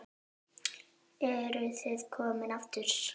Eruð þið komin aftur?